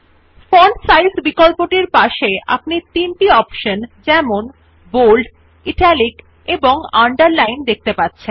font size বিকল্পটির পাশে আপনি তিনটি অপশন যেমন বোল্ড ইটালিক এবং আন্ডারলাইন দেখতে পাবেন